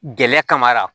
Gɛrɛ kar kan